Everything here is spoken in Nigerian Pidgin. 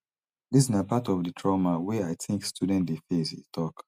dis na part of di trauma wey i think students dey face e tok